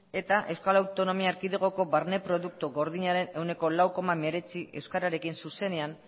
eta euskal autonomia erkidegoko barne produktu gordinaren ehuneko lau koma hemeretzi euskararekin zuzenean